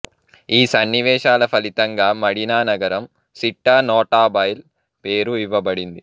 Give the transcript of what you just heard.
ఈ సన్నివేశాల ఫలితంగా మడినా నగరం సిట్టా నోటాబైల్ పేరు ఇవ్వబడింది